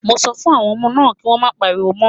Mo sọ fún àwọn ọmọ náà kí wọ́n má pariwo mọ́.